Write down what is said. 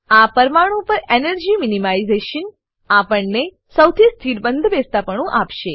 આ પરમાણુ પર એનર્જી મિનિમાઇઝેશન એનર્જી મીનીમાઈઝેશન આપણને સૌથી સ્થિર બંધબેસતાપણું આપશે